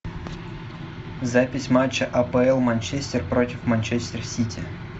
запись матча апл манчестер против манчестер сити